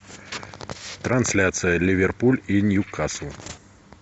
трансляция ливерпуль и ньюкасл